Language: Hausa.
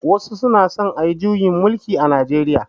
Wasu suna son ayi juyin mulki a Najeriya.